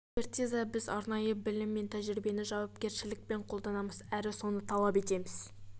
экспертиза біз арнайы білім мен тәжірибені жауапкершілікпен қолданамыз әрі соны талап етеміз